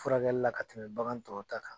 Furakɛli la ka tɛmɛ bagan tɔw ta kan.